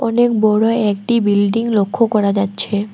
অনেক বড় একটি বিল্ডিং লক্ষ করা যাচ্ছে।